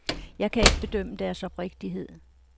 Jeg kan ikke bedømme deres oprigtighed.